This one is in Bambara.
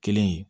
Kelen ye